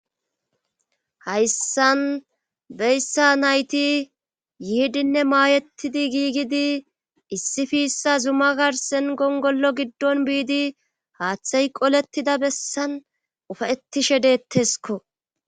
Hayssan beyssa nayti yiidinne maayettidi gigidi issi fiissa zuma garsen gongollo giddon biidi haaththay qolettida bessan ufayettishe deettesko